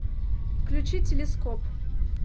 включи телескоп